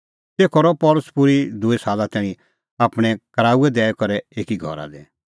तेखअ रहअ पल़सी पूरी दूई साला तैणीं आपणैं कराऊऐ दैई करै एकी घरा दी